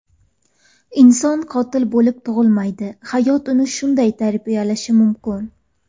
Inson qotil bo‘lib tug‘ilmaydi, hayot uni shunday tarbiyalashi mumkin.